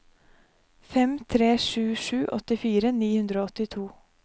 fem tre sju sju åttifire ni hundre og åttito